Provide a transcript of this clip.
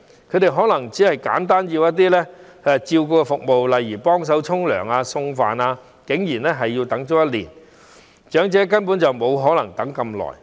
他們可能只是需要一些簡單的照顧服務，例如幫忙洗澡或送飯等，但竟然也要等待1年，長者根本沒可能等那麼久。